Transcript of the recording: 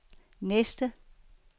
næste